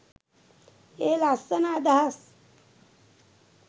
ඒ ලස්සන අදහස්